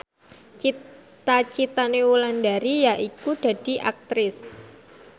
cita citane Wulandari yaiku dadi Aktris